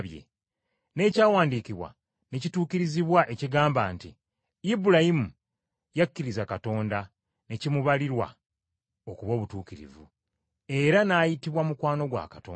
n’ekyawandiikibwa ne kituukirizibwa ekigamba nti, “Ibulayimu yakkiriza Katonda, ne kimubalirwa okuba obutuukirivu, era n’ayitibwa mukwano gwa Katonda.”